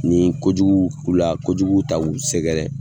Ni kojugu k'u la ojugu ta k'u sɛgɛrɛ